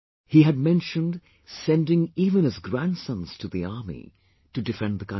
He had mentioned sending even his grandsons to the army to defend the country